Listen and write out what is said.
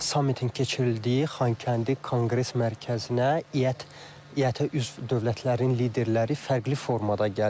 Sammitin keçirildiyi Xankəndi Konqres Mərkəzinə iət iətə üzv dövlətlərin liderləri fərqli formada gəlir.